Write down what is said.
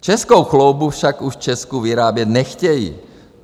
Českou chloubou však už v Česku vyrábět nechtějí.